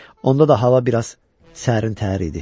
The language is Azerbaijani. Onda da hava biraz sərin-təhər idi.